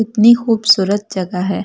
इतनी खूबसूरत जगह है।